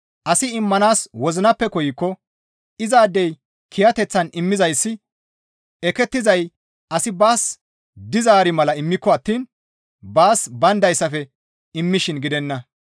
Asi immanaas wozinappe koykko izaadey kiyateththan immizayssi ekettizay asi baas dizaari mala immiko attiin baas bayndayssafe immishin gidenna.